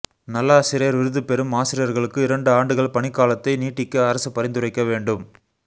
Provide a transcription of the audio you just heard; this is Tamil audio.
நல்லாசிரியர் விருது பெறும் ஆசிரியர்களுக்கு இரண்டு ஆண்டுகள் பணிக்காலத்தை நீட்டிக்க அரசு பரிந்துரைக்க வேண்டும்